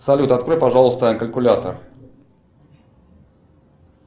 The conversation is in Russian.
салют открой пожалуйста калькулятор